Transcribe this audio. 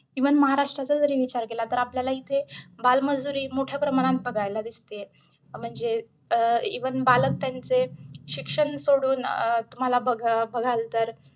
Even महाराष्ट्राचा जरी विचार केला तरी, आपल्याला इथे बालमजुरी मोठ्या प्रमाणात बघायला दिसते. म्हणजे अं even बालक त्यांचे शिक्षण सोडून अं तुम्हाला ब बघाल तर